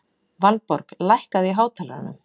Valborg, lækkaðu í hátalaranum.